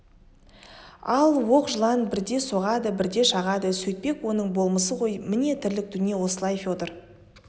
ол оқ жылан бірде соғады бірде шағады сөйтпек оның болмысы ғой міне тірлік дүние осылай федор